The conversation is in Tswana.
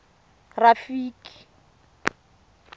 rafiki